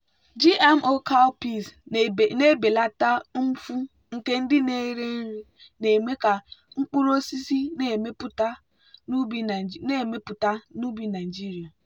gmo cowpeas na-ebelata mfu nke ndị na-eri nri na-eme ka mkpụrụ osisi na-emepụta n'ubi nigeria.